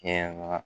Kɛ na